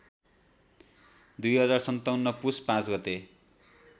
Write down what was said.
२०५७ पुस ५ गते